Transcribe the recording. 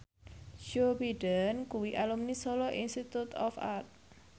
Joe Biden kuwi alumni Solo Institute of Art